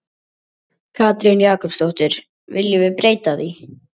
Katrín Jakobsdóttir: Viljum við breyta því?